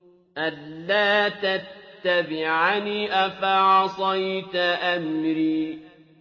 أَلَّا تَتَّبِعَنِ ۖ أَفَعَصَيْتَ أَمْرِي